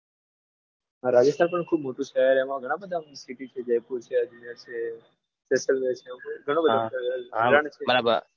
હા રાજસ્થાન પણ ખૂબ મોટું શહેર એમાં ઘણા બધા city છે જયપુર છે અજમેર છે જેસલમેર છે એવું ઘણું બધું ફરવા લાયક છે.